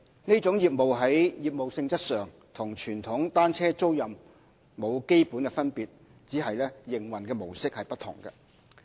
其在業務性質上與傳統單車租賃沒有基本分別，只是營運模式不同。